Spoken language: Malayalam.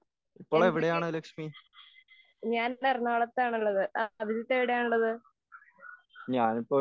എന്തൊക്കെയുണ്ട്? ഞാൻ ഇന്ന് എറണാകുളത്താണ് ഉള്ളത്. അഭിജിത്ത് എവിടെയാണ് ഉള്ളത്?